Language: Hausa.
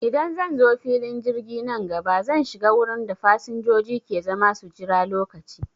Idan zanzo filin jirgi nan gaba, zan shiga wurin da fasanjoji ke zama su jira lokaci